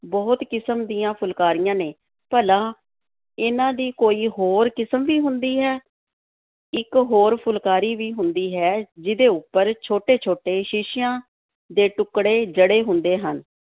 ਬਹੁਤ ਕਿਸਮ ਦੀਆਂ ਫੁਲਕਾਰੀਆਂ ਨੇ ਭਲਾ, ਇਹਨਾਂ ਦੀ ਕੋਈ ਹੋਰ ਕਿਸਮ ਵੀ ਹੁੰਦੀ ਹੈ, ਇੱਕ ਹੋਰ ਫੁਲਕਾਰੀ ਵੀ ਹੁੰਦੀ ਹੈ ਜਿਹਦੇ ਉੱਪਰ ਛੋਟੇ-ਛੋਟੇ ਸ਼ੀਸ਼ਿਆਂ ਦੇ ਟੁੱਕੜੇ ਜੜੇ ਹੁੰਦੇ ਹਨ।